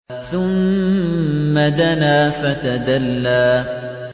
ثُمَّ دَنَا فَتَدَلَّىٰ